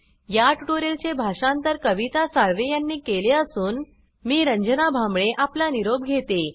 या ट्यूटोरियल चे भाषांतर कविता साळवे यांनी केले असून मी रंजना भांबळे आपला निरोप घेते